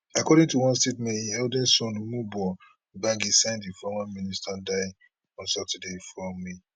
according to one statement im eldest son emuoboh gbagi send former minister die on saturday four